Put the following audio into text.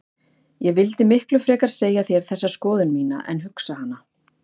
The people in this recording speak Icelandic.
Ég vildi miklu frekar segja þér þessa skoðun mína en hugsa hana.